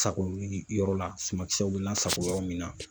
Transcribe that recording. Sa k'o wuli i yɔrɔ la, suma kisɛw be lasako yɔrɔ min na.